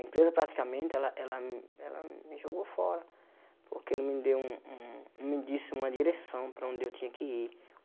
A empresa praticamente ela ela ela me jogou fora porque não me deu não me disse uma direção para onde eu tinha que ir.